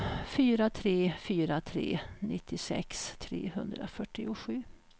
fyra tre fyra tre nittiosex trehundrafyrtiosju